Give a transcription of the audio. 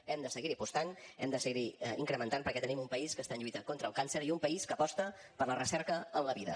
hem de seguir hi apostant hem de seguir incrementant perquè tenim un país que està lluitant contra el càncer i un país que aposta per la recerca en la vida